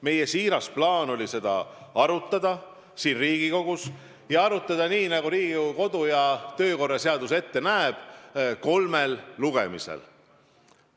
Meie siiras plaan oli seda Riigikogus arutada, ja arutada nii, nagu Riigikogu kodu- ja töökorra seadus ette näeb, kolmel lugemisel.